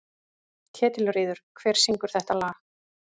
Ketilríður, hver syngur þetta lag?